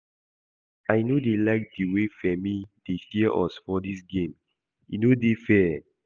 I no dey like the way Femi dey share us for dis game, he no dey fair